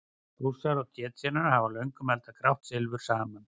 Rússar og Tsjetsjenar hafa löngum eldað grátt silfur saman.